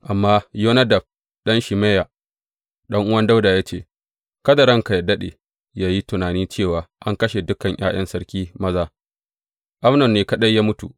Amma Yonadab, ɗan Shimeya ɗan’uwan Dawuda ya ce, Kada ranka yă daɗe yă yi tunani cewa an kashe dukan ’ya’yan sarki maza; Amnon ne kaɗai ya mutu.